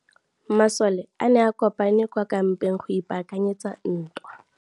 Masole a ne a kopane kwa kampeng go ipaakanyetsa ntwa.